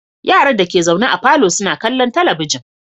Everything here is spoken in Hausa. Yaran dake zaune a falo suna kallon talabijin